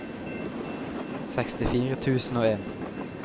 sekstifire tusen og en